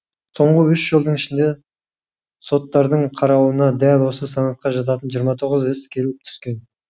соңғы үш жылдың ішінде соттардың қарауына дәл осы санатқа жататын жиырма тоғыз іс келіп түскен